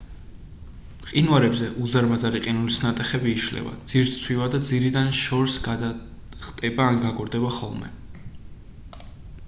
მყინვარებზე უზარმაზარი ყინულის ნატეხები იშლება ძირს სცვივა და ძირიდან შორს გადახტება ან გაგორდება ხოლმე